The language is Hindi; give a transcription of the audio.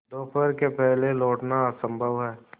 दोपहर के पहले लौटना असंभव है